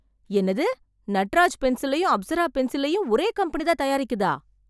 என்னது! நட்ராஜ் பென்சிலையும் அப்சரா பென்சிலையும் ஒரே கம்பெனி தான் தயாரிக்குதா!